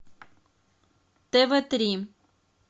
тв три